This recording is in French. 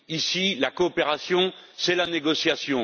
Ici, la coopération, c'est la négociation.